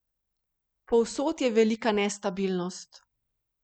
Povsod je velika nestabilnost.